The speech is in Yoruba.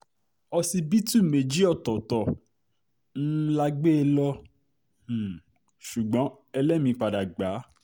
òṣìbìtú méjì ọ̀tọ̀ọ̀tọ̀ um la gbé e lọ um ṣùgbọ́n ẹlẹ́mìí padà gbà á